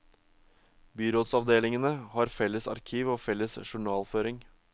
Byrådsavdelingene har felles arkiv og felles journalføring.